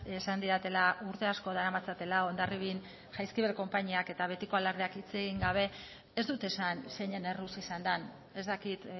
esan didatela urte asko daramatzatela hondarribian jaizkibel konpainiak eta betiko alardeak hitz egin gabe ez dut esan zeinen erruz izan den ez dakit